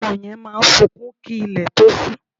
Ọmọ yẹn máa sunkún kí ilẹ̀ tó ṣú